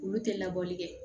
Olu tɛ labɔli kɛ